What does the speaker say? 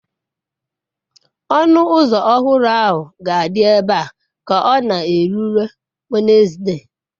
Ọnụ ụzọ ọhụrụ ahụ ga-adị ebe a ka ọ na-erule Wenezde.